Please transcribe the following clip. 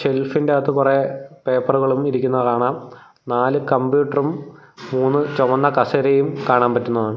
ഷെൽഫിന്റാത്തു കുറെ പേപ്പറുകളും ഇരിക്കുന്നത് കാണാം നാല് കമ്പ്യൂട്ടറും മൂന്ന് ചുവന്ന കസേരയും കാണാൻ പറ്റുന്നതാണ്.